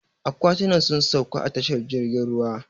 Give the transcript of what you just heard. Aƙwatinan sun sauƙa a tashar jirgin ruwa.